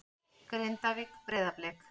Grindavík- Breiðablik